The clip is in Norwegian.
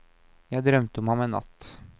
Jeg drømte om ham en natt.